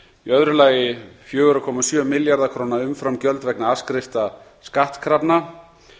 í öðru lagi fjögurra komma sjö milljarða króna umframgjöld vegna afskrifta skattkrafna